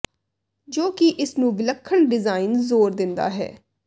ਜੋ ਕਿ ਇਸ ਨੂੰ ਵਿਲੱਖਣ ਡਿਜ਼ਾਇਨ ਜ਼ੋਰ ਦਿੰਦਾ ਹੈ